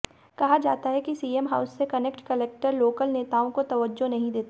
कहा जाता है कि सीएम हाउस से कनेक्ट कलेक्टर लोकल नेताओं को तवज्जो नहीं देते